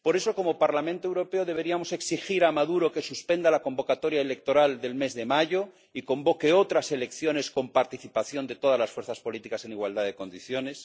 Por eso, como Parlamento Europeo, deberíamos exigir a Maduro que suspenda la convocatoria electoral del mes de mayo y convoque otras elecciones, con participación de todas las fuerzas políticas en igualdad de condiciones.